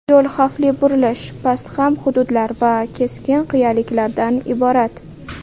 Yo‘l xavfli burilish, pastqam hududlar va keskin qiyaliklardan iborat.